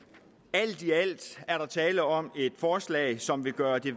alt i alt er der tale om et forslag som vil gøre det